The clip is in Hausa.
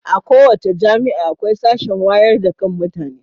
A kowace jami'a akwai sashen wayar da kan mutane.